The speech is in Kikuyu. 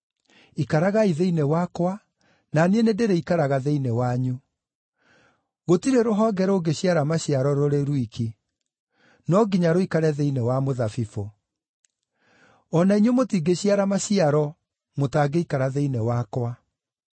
Ikaragai thĩinĩ wakwa na niĩ nĩndĩrĩikaraga thĩinĩ wanyu. Gũtirĩ rũhonge rũngĩciara maciaro rũrĩ rwiki; no nginya rũikare thĩinĩ wa mũthabibũ. O na inyuĩ mũtingĩciara maciaro mũtangĩikara thĩinĩ wakwa.